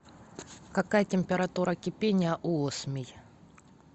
какая температура кипения у осмий